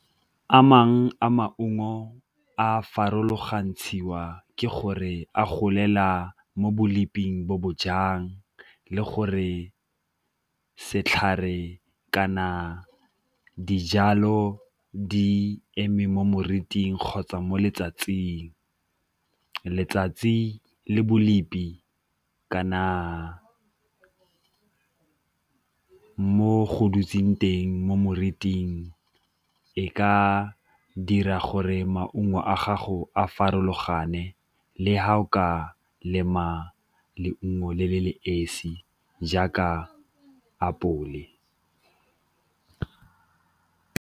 a maungo a farologantshiwa ke gore a golela mo bo bo bo jang le gore setlhare kana dijalo di eme mo moriting kgotsa mo letsatsing, letsatsi le kana mo go dutseng teng mo moriting e ka dira gore re maungo a gago a farologane le fa o ka lema leungo le le le esi jaaka apole.